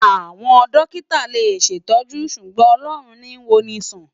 Awòn dòkitá lé ṣétòjú ṣúgbòn Òlòrún ni wònisán